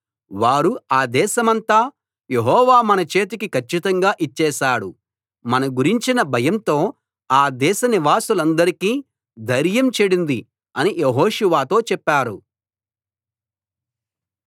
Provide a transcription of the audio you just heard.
వారు ఆ దేశమంతా యెహోవా మన చేతికి కచ్చితంగా ఇచ్చేశాడు మన గురించిన భయంతో ఆ దేశనివాసులందరికీ ధైర్యం చెడింది అని యెహోషువతో చెప్పారు